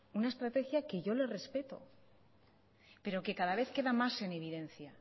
una estrategia que yo le respeto pero que cada vez queda más en evidencia